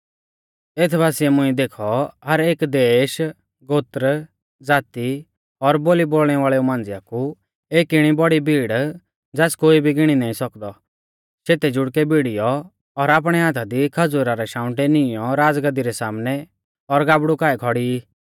एथ बासिऐ मुंइऐ देखौ हर एक देश गोत्र ज़ाती और बोली बोलणै वाल़ेऊ मांझ़िया कु एक इणी बौड़ी भीड़ ज़ास कोई भी गिणी नाईं सौकदौ शेते जुड़कै भिड़ीयौ और आपणै हाथा दी खज़ूरा रै शाउंटै नीईंयौ राज़गाद्दी रै सामनै और गाबड़ु काऐ खौड़ी ई